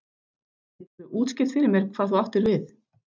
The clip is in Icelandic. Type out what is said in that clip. Gætirðu útskýrt fyrir mér hvað þú áttir við?